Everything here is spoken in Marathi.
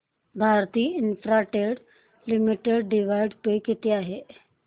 Bharti Infratel Limited dividend pay किती आहे